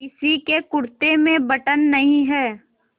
किसी के कुरते में बटन नहीं है